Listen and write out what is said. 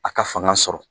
A ka fanga sɔrɔ